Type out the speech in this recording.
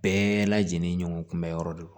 Bɛɛ lajɛlen ɲɔgɔn kunbɛ yɔrɔ de don